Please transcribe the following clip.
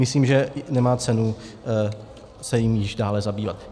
Myslím, že nemá cenu se jím již dále zabývat.